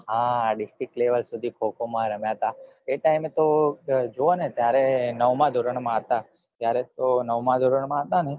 હા district level સુદી ખો ખો માં રમ્યા તા એ time તો જોવો ને ત્યારે નવામાં ધોરણ માં હતા તો નવામાં ધોરણ માં હતા ને